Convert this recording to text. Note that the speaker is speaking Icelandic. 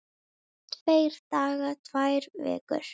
Tveir dagar, tvær vikur?